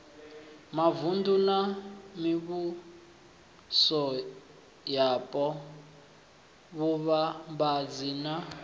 mavunḓu na mivhusoyapo vhuvhambadzi na